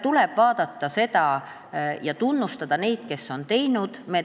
Tuleb tunnustada neid, kes on teinud.